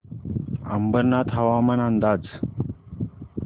अंबरनाथ हवामान अंदाज